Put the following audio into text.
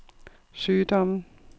sygdommen